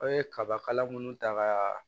A' ye kaba kala munnu ta ka